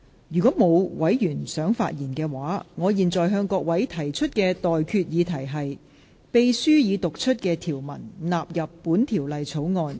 如果沒有，我現在向各位提出的待決議題是：秘書已讀出的條文納入本條例草案。